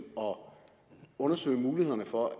undersøge mulighederne for at